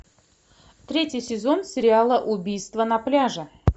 третий сезон сериала убийство на пляже